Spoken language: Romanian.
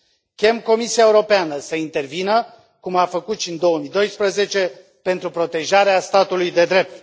Chem Comisia Europeană să intervină, cum a făcut și în 2012, pentru protejarea statului de drept!